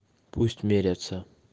пусть мерятся